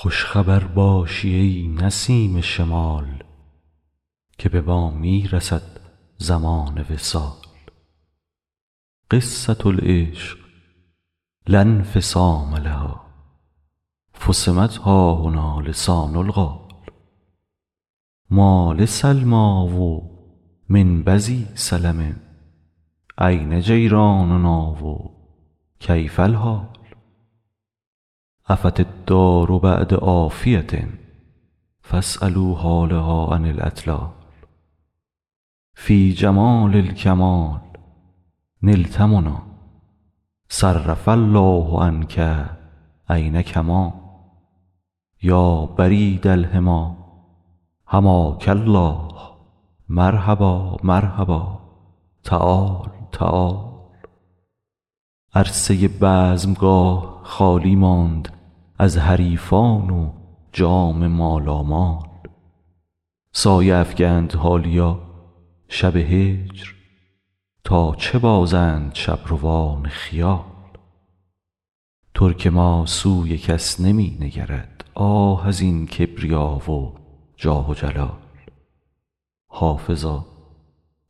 خوش خبر باشی ای نسیم شمال که به ما می رسد زمان وصال قصة العشق لا انفصام لها فصمت ها هنا لسان القال ما لسلمی و من بذی سلم أین جیراننا و کیف الحال عفت الدار بعد عافیة فاسألوا حالها عن الاطلال فی جمال الکمال نلت منی صرف الله عنک عین کمال یا برید الحمی حماک الله مرحبا مرحبا تعال تعال عرصه بزمگاه خالی ماند از حریفان و جام مالامال سایه افکند حالیا شب هجر تا چه بازند شبروان خیال ترک ما سوی کس نمی نگرد آه از این کبریا و جاه و جلال حافظا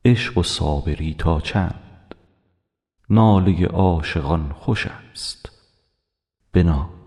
عشق و صابری تا چند ناله عاشقان خوش است بنال